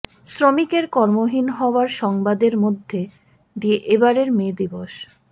শ্রমিকের কর্মহীন হওয়ার সংবাদের মধ্য দিয়ে এবারের মে দিবস